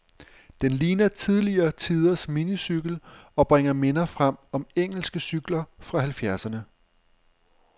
Den ligner tidligere tiders minicykel, og bringer minder frem om engelske cykler fra halvfjerdserne.